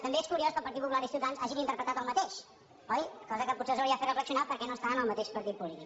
també és curiós que el partit popular i ciutadans hagin interpretat el mateix oi cosa que potser els hauria de fer reflexionar perquè no estan en el mateix partit polític